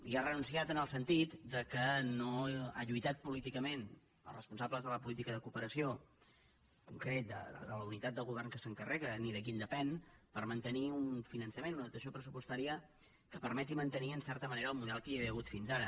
hi ha renunciat en el sentit que no han lluitat políticament els responsables de la política de cooperació en concret de la unitat del govern que se n’encarrega ni de qui en depèn per mantenir un finançament una dotació pressupostària que permeti mantenir en certa manera el model que hi havia hagut fins ara